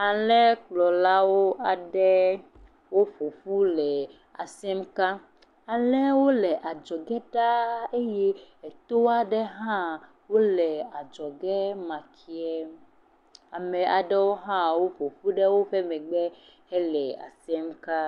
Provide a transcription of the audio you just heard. Alẽkplɔlawo aɖe woƒoƒu le asem ka. Alẽwo le adzɔge ɖaa eye eto aɖe hã wo le adzɔge ma ke. Ame aɖewo hã woƒoƒu ɖe woƒe megbe hele asem ka.